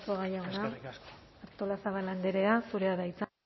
eskerrik asko arzuaga jauna artolazabal andrea zurea da hitza